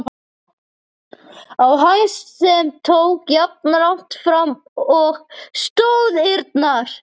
á hæð, sem tók jafnlangt fram og stoðirnar.